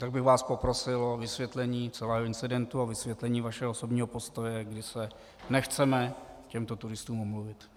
Tak bych vás poprosil o vysvětlení celého incidentu a vysvětlení vašeho osobního postoje, kdy se nechceme těmto turistům omluvit.